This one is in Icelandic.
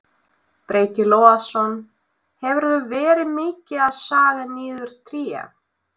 Breki Logason: Hefurðu verið mikið að saga niður tré?